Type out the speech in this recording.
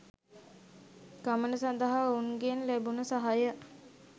ගමන සදහා ඔවුන්ගෙන් ලැබුණු සහය